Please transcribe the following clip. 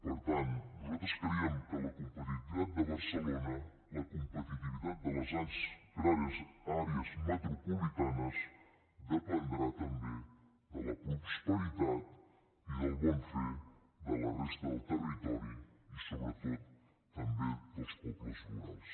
per tant nosaltres creiem que la competitivitat de barcelona la competitivitat de les grans àrees metropolitanes dependrà també de la prosperitat i del bon fer de la resta del territori i sobretot també dels pobles rurals